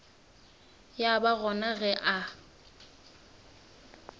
ya ba gona ge a